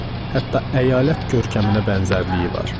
Hətta əyalət görkəminə bənzərliyi var.